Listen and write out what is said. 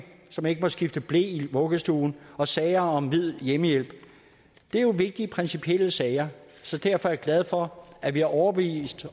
som ikke må skifte ble i vuggestuen og sager om hvid hjemmehjælp det er jo vigtige principielle sager så derfor er jeg glad for at vi har overbevist